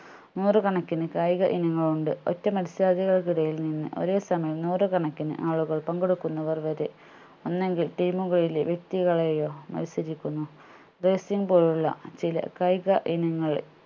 നൂറുകണക്കിന് കായിക ഇനങ്ങൾ ഉണ്ട് ഒറ്റ മത്സരാർത്ഥികൾക്ക് ഇടയിൽ നിന്ന് ഒരേ സമയം നൂറുകണക്കിന് ആളുകൾ പങ്കെടുക്കുന്നവർ വരെ ഒന്നെങ്കിൽ team കളിലെ വ്യക്തികളെയോ മത്സരിക്കുന്നു പോലുള്ള ചില കായിക ഇനങ്ങൾ